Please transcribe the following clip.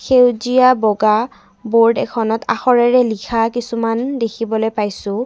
সেউজীয়া বগা বোৰ্ড এখনত আখৰেৰে লিখা কিছুমান দেখিবলৈ পাইছোঁ।